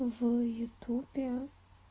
в ютуби